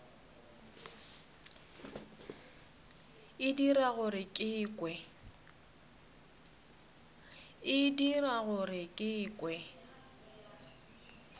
e dira gore ke kwe